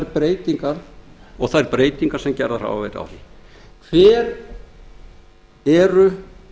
varðar og þær breytingar sem gerðar hafa verið á því hver eru